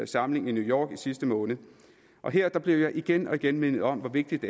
samling i new york i sidste måned og her blev jeg igen og igen mindet om hvor vigtigt